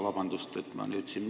Vabandust, et ma nüüd siin ...